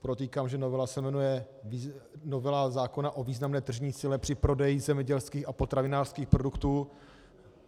Podotýkám, že novela se jmenuje novela zákona o významné tržní síle při prodeji zemědělských a potravinářských produktů.